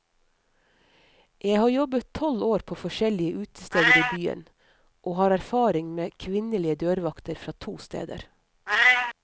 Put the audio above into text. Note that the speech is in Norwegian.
Jeg har jobbet tolv år på forskjellige utesteder i byen, og har erfaring med kvinnlige dørvakter fra to steder.